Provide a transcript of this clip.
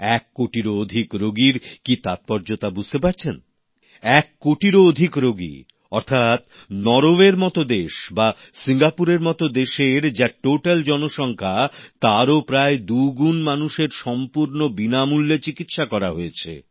এক কোটিরও অধিক রোগীর কি তাৎপর্য তা কি বুঝতে পারছেন এক কোটিরও অধিক রোগী অর্থাৎ নরওয়ের মত দেশ বা সিঙ্গাপুরের মতো দেশের যা মোট জনসংখ্যা তারও প্রায় দু গুণ মানুষের সম্পূর্ণ বিনামূল্যে চিকিৎসা করা হয়েছে